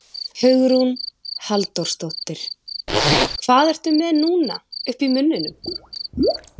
Hugrún Halldórsdóttir: Hvað ertu með núna uppi í munninum?